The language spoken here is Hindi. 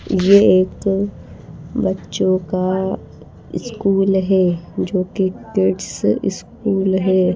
यह एक बच्चों का स्कूल है जो कि किड्स स्कूल है।